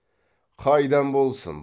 қайдан болсын